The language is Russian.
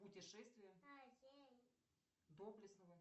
путешествие доблестного